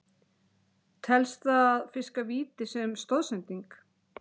Telst það að fiska víti sem stoðsending?